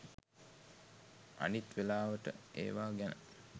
අනිත් වෙලාවට ඒවා ගැන